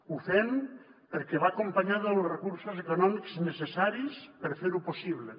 ho fem perquè va acompanyada dels recursos econòmics necessaris per fer ho possible